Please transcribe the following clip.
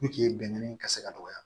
bɛnkan in ka se ka dɔgɔya